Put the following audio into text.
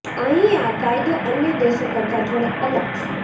અહીં આ કાયદો અન્ય દેશો કરતા થોડો અલગ છે